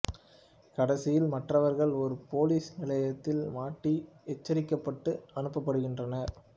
கடைசியில் மற்றவர்கள் ஒரு போலீஸ் நிலையத்தில் மாட்டி எச்சரிக்கப்பட்டு அனுப்பப்படுகின்றனர்